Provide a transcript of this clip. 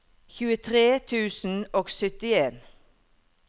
tjuetre tusen og syttien